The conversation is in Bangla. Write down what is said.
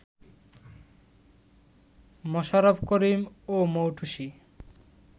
মোশাররফ করিম ও মৌটুসী